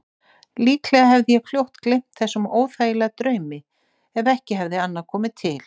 Líklega hefði ég fljótt gleymt þessum óþægilega draumi ef ekki hefði annað komið til.